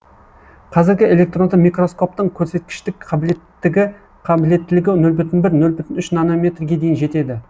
қазіргі электронды микроскоптың көрсеткіштік қабілеттілігі нөл бүтін бір нөл бүтін үш нанометрге дейін жетеді